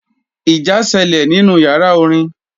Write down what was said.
Ìjà sẹlẹ̀ nínú yàrá orin.